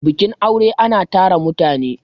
bikin aure ana tara mutane